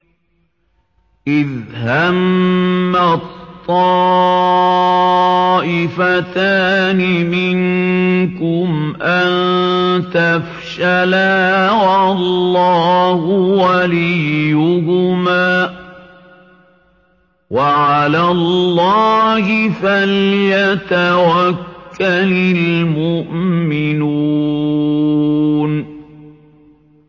إِذْ هَمَّت طَّائِفَتَانِ مِنكُمْ أَن تَفْشَلَا وَاللَّهُ وَلِيُّهُمَا ۗ وَعَلَى اللَّهِ فَلْيَتَوَكَّلِ الْمُؤْمِنُونَ